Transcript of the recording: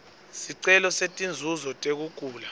sicelo setinzuzo tekugula